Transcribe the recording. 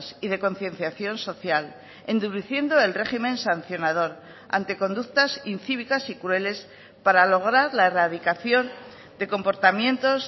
y de concienciación social endureciendo el régimen sancionador ante conductas incívicas y crueles para lograr la erradicación de comportamientos